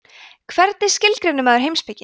hvernig skilgreinir maður heimspeki